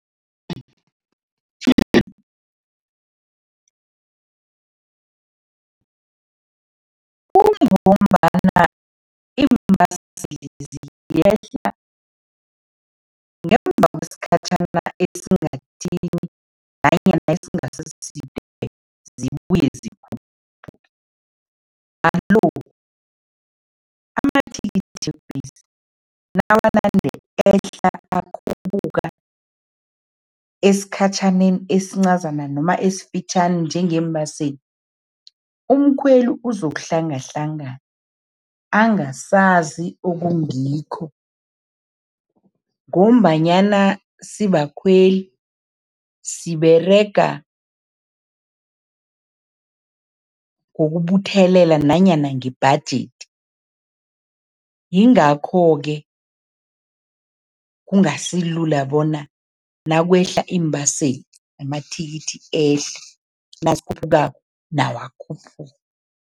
Kungombana iimbaselezi ziyehla ngemva kwesikhatjhana esingathini nanyana esingasiside, zibuye zikhuphuke. Alo, amathikithi webhesi, nawanande ehla akhuphuka, esikhatjhaneni esincazana noma esifitjhani njengeembaseli, umkhweli uzokuhlanganahlangana, angasazi okungikho ngombanyana sibakhweli siberega ngokubuthelela nanyana ngebhajethi, yingakho-ke kungasilula bona nakwehla iimbaseli, namathikithi ehle, nazikhuphukako, nawo akhuphuke.